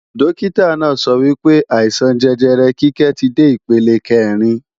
Dókítà náà sọ wípé, àìsàn jẹjẹrẹ Kíkẹ́ ti dé ipele kẹ́rin